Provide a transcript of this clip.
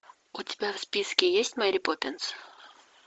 у тебя в списке есть мери поппинс